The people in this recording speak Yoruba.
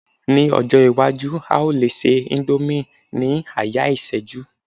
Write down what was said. ní ọjọ iwaju, a o le se indomie ni aya iseju